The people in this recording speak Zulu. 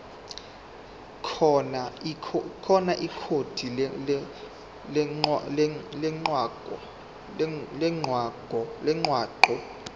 khona ikhodi lomgwaqo